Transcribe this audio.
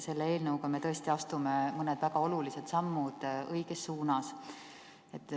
Selle eelnõuga me astume mõned väga olulised sammud õiges suunas.